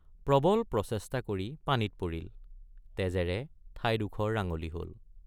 প্ৰবল প্ৰচেষ্টা কৰি পানীত পৰিল তেজেৰে ঠাইডোখৰ ৰাঙলী হল।